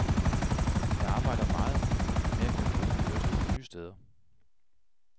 Jeg arbejder meget med at kunne bruge min kørestol nye steder.